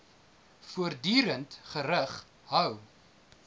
voortdurend gerig hou